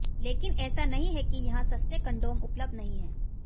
लेकिन ऐसा नहीं है कि यहां सस्ते कंडोम उपलब्ध नहीं हैं